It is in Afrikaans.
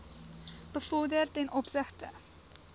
bevorder ten opsigte